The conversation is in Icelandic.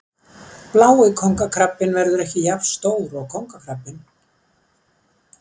blái kóngakrabbinn verður ekki jafn stór og kóngakrabbinn